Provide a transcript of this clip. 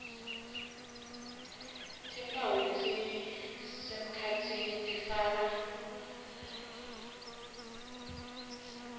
timphawu lesisemkhatsini tifaka